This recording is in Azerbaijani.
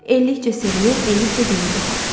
Eləlikcə sevinir, eləlikcə gülürdü xalq.